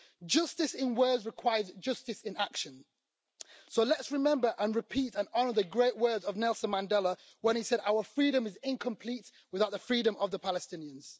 Justice in words requires justice in action, so let us remember and repeat and honour the great words of Nelson Mandela when he said Our freedom is incomplete without the freedom of the Palestinians'.